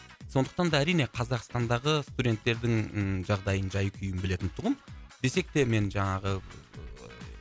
сондықтан да әрине қазақстандағы студенттердің жағдайын жай күйін білетінтұғым десек те мен жаңағы ыыы